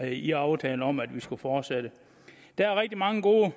i aftalen om at vi skulle fortsætte der er rigtig mange gode